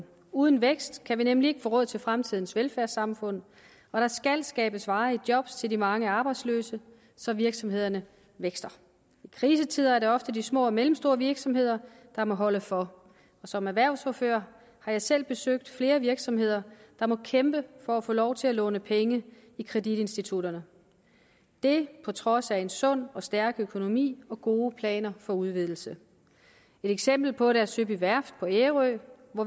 uden vækst kan vi nemlig ikke få råd til fremtidens velfærdssamfund og der skal skabes varige job til de mange arbejdsløse så virksomhederne vækster i krisetider er det ofte de små og mellemstore virksomheder der må holde for som erhvervsordfører har jeg selv besøgt flere virksomheder der må kæmpe for at få lov til at låne penge i kreditinstitutterne det på trods af en sund og stærk økonomi og gode planer for udvidelse et eksempel på det er søby værft på ærø